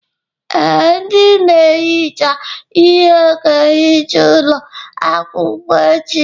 Ee, ndị na-ehicha ihe ga-ehicha ụlọ akwụkwọ echi.